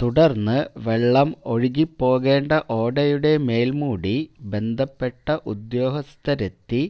തുടര്ന്ന് വെള്ളം ഒഴുകിപ്പോകേണ്ട ഓടയുടെ മേല്മൂടി ബന്ധപ്പെട്ട ഉദ്യോഗസ്ഥരെത്തി